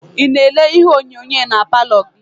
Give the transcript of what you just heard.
Ị na-ele ihe onyonyo na paalọ gị?